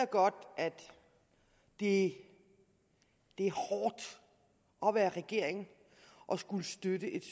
godt at det er hårdt at være regering og skulle støtte et